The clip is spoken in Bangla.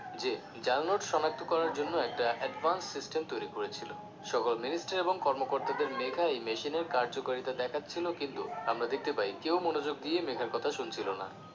যে জাল নোট শনাক্ত করার জন্য একটা advance system তৈরি করেছিলো সকল minister এবং কর্মকর্তাদের মেঘা এই machine র কার্যকারিতা দেখাচ্ছিলো কিন্তু আমরা দেখতে পাই কেউ মনোযোগ দিয়ে মেঘার কথা শুনছিলো না